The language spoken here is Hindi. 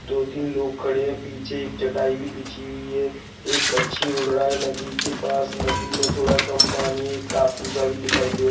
दो तीन लोग खड़े हैं पीछे एक चटाई भी बिछी हुई हैं एक पंछी उड़ रहा हैं नदी के पास नदी में थोड़ा कम पानी हैं एक टापू सा दिखाई दे--